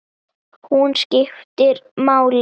Hún skiptir máli.